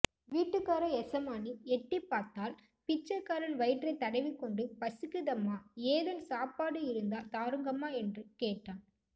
வீட்டுக்காற எசமானி எட்டிப்பாத்தாள் பிச்சைக் க்காரன் வயிற்றைத் தடவிக் கொண்டு பசிக்குதம்மா ஏதன் சாப்பாடு இருந்தா தாருங்கம்ம என்று கேட்டான்